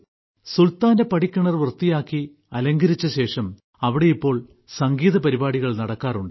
സുൽത്താന്റെ പടിക്കിണർ വൃത്തിയാക്കി അലങ്കരിച്ചശേഷം അവിടെ ഇപ്പോൾ സംഗീതപരിപാടികൾ നടക്കാറുണ്ട്